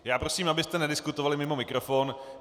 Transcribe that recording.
Já prosím, abyste nediskutovali mimo mikrofon.